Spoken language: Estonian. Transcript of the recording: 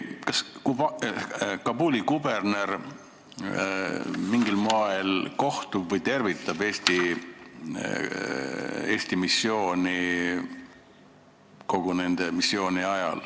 Kas Kabuli kuberner kohtub mingil moel üksustega nende missiooni ajal või tervitab Eesti missiooni?